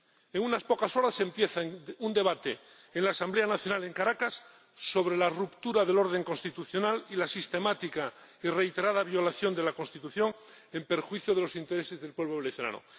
En unas pocas horas empieza un debate en la Asamblea Nacional en Caracas sobre la ruptura del orden constitucional y la sistemática y reiterada violación de la Constitución, en perjuicio de los intereses del pueblo venezolano.